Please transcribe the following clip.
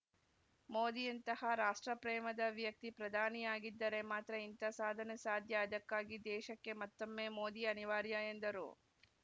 ಮೋದಿಯಂತಹ ರಾಷ್ಟ್ರ ಪ್ರೇಮದ ವ್ಯಕ್ತಿ ಪ್ರಧಾನಿಯಾಗಿದ್ದರೆ ಮಾತ್ರ ಇಂಥ ಸಾಧನೆ ಸಾಧ್ಯ ಅದಕ್ಕಾಗಿ ದೇಶಕ್ಕೆ ಮತ್ತೊಮ್ಮೆ ಮೋದಿ ಅನಿವಾರ್ಯ ಎಂದರು